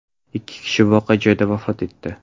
Ikki kishi voqea joyida vafot etdi.